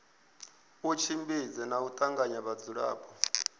tshimbidze na u tanganya vhadzulapo